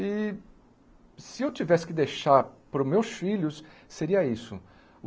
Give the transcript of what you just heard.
E se eu tivesse que deixar para os meus filhos, seria isso.